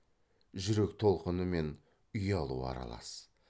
жүрек толқыны мен ұялу аралас